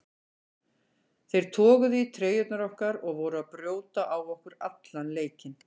Þeir toguðu í treyjurnar okkar og voru að brjóta á okkur allan leikinn.